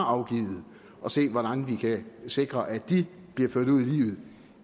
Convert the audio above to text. afgivet og se hvordan vi kan sikre at de bliver ført ud i livet